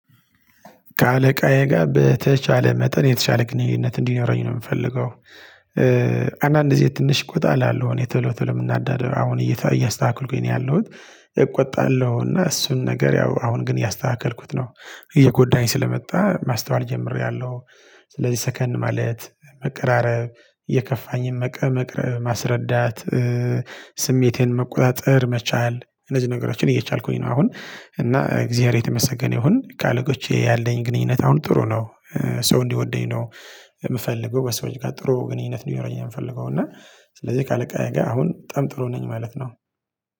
ከአለቃዬ ጋር በተቻለ መጠን የተቻለ ግንኙነት እንዲኖረኝ ነው የምፈልገው። አንዳንድ ጊዜ ትንሽ ቆጣ እላለሁ እኔ ቶሎ ቶሎ የምናደደው አሁን እያስተካከልኩኝ ነው ያለሁት። እቆጣለሁ እና እሱን ነገር ያው አሁን ግን እያስተካከልኩት ነው እየጎዳኝ ስለመጣ ማስተዋል ጀምሬያለሁ። ስለዚህ ሰከን ማለት መቀራረብ የከፋኝን ማስረዳት ስሜቴን መቆጣጠር መቻል እነዚህ ነገሮችን እየቻልኩኝ ነው። አሁን እና እግዚያር የተመሰገነ ይሁን ከአለቆቼ ያለኝ ግንኙነት አሁን ጥሩ ነው። ሰው እንዲወደኝ ነው። የምፈልገው በሰዎች ጋር ጥሩ ግንኙነት እንዲኖረኝ ነው ምንፈልገው እና። ስለዚህ ካለቃዬ ጋር አሁን በጣም ጥሩ ነኝ ማለት ነው።